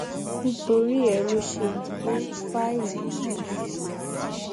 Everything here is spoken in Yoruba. nítorí ẹ lọ ṣe gbé fáìlì náà fún un